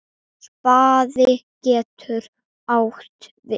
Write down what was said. Spaði getur átt við